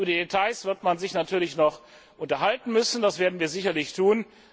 Über die Details wird man sich natürlich noch unterhalten müssen, das werden wir sicherlich